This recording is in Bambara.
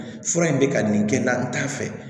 Fura in bɛ ka nin kɛ n'a t'a fɛ